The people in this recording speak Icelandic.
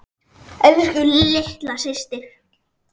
Elsku litla systir.